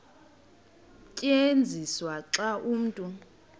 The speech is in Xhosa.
tyenziswa xa umntu